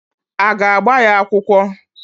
Aga agba ya akwụkwọ?